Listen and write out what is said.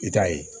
I ta ye